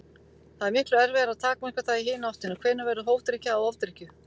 Það er miklu erfiðara að takmarka það í hina áttina: Hvenær verður hófdrykkja að ofdrykkju?